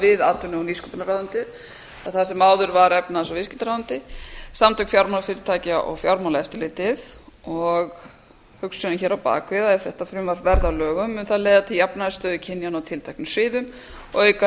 við atvinnu og nýsköpunarráðuneytið það sem áður var efnahags og viðskiptaráðuneyti samtök fjármálafyrirtækja og fjármálaeftirlitið og hugsunin hér á bak við að ef þetta frumvarp verði að lögum mun það leiða til jafnari stöðu kynjanna á tilteknum sviðum og auka